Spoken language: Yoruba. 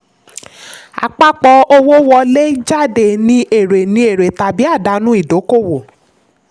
àpapọ̀ owó wọlé/jáde ni èrè ni èrè tàbí àdánù ìdókòwò.